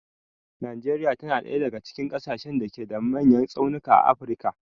Najeriya ta na ɗaya daga cikin ƙasashen da ke da manyan tsaunuka a afirka.